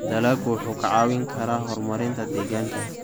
Dalaggu wuxuu kaa caawin karaa horumarinta deegaanka.